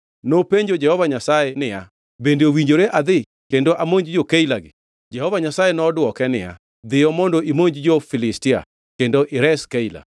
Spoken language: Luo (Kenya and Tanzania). nopenjo Jehova Nyasaye niya, “Bende owinjore adhi kendo amonj jo-Filistia-gi?” Jehova Nyasaye nodwoke niya, “Dhiyo, mondo imonj jo-Filistia kendo ires Keila.”